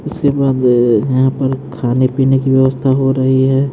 उसके बाद अअयहां पर खाने पीने की व्यवस्था हो रही है।